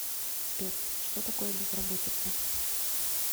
сбер что такое безработица